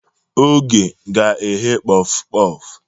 Oge ga-eghe Kpof-kpof.